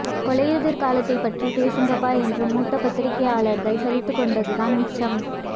கொலையுதிர் காலத்தைப் பற்றிப் பேசுங்கப்பா என்று மூத்த பத்திரிக்கையாளர்கள் சலித்துக் கொண்டது தான் மிச்சம்